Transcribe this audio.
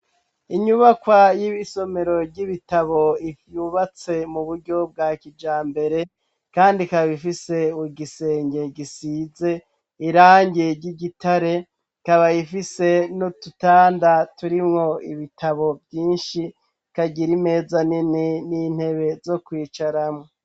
Inyubakwa y'ibisomero ry'ibitabo ivyubatse mu buryo bwa kija mbere, kandi kaba ifise wu gisenge gisize irange ry'igitare kabayifise no tutanda turimwo ibitabo vyinshi kagira imeza nene n'intebe zo kwicara.